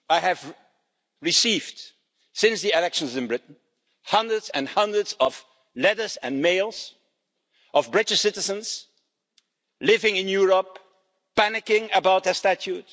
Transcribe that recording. I have received, since the elections in Britain, hundreds and hundreds of letters and emails of British citizens living in Europe, panicking about their status.